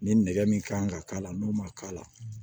Ni nɛgɛ min kan ka k'a la n'o ma k'a la